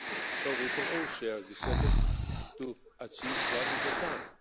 So we can all share this effort to achieve what we have